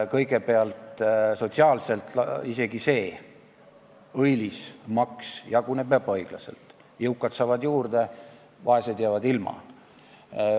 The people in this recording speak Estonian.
Kõigepealt, sotsiaalselt jaguneb isegi see õilis asi ebaõiglaselt: jõukad saavad juurde, vaesed jäävad ilma.